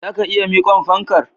Zaka iya miqon fankar?